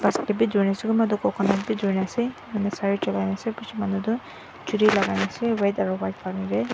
kunba toh coconut bi durina ase sare colai na ase bishi manu churi lakai naase red aro white colour --